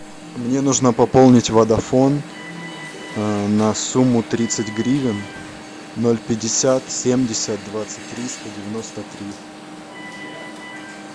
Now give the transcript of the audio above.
мне нужно пополнить водафон на сумму тридцать гривен ноль пятьдесят семьдесят двадцать три сто девяносто три